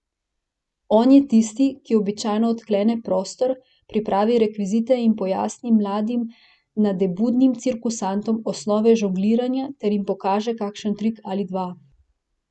On je tisti, ki običajno odklene prostor, pripravi rekvizite in pojasni mladim nadebudnim cirkusantom osnove žongliranja ter jim pokaže kakšen trik ali dva.